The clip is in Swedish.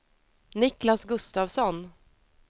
Niklas Gustafsson